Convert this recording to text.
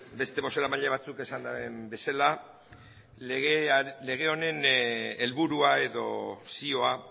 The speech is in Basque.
beste bozeramaile batzuek esan daben bezala lege honen helburua edo zioa